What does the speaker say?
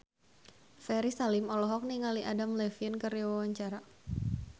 Ferry Salim olohok ningali Adam Levine keur diwawancara